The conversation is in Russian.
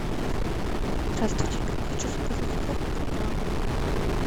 здравствуйте хочу заказать корм про план